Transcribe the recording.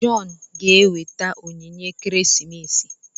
John ga-enweta onyinye ekeresimesi.